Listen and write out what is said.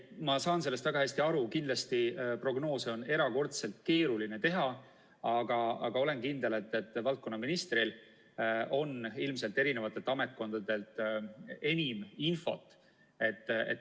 Ma saan sellest väga hästi aru, kindlasti on prognoose erakordselt keeruline teha, aga olen kindel, et valdkonnaministril on ilmselt ametkondadelt enim infot.